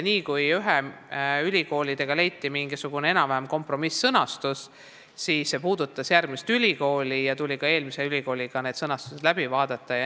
Kohe, kui leiti mingisugune enam-vähem kompromiss-sõnastus ühe ülikooliga, puudutas see mõnda teist ülikooli ja seega tuli sõnastused ka eelmise ülikooliga uuesti läbi vaadata.